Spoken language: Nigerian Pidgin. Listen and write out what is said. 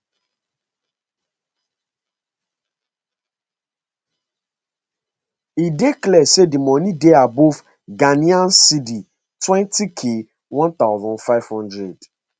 e dey clear say di moni dey above ghc twenty k one thousand five hundred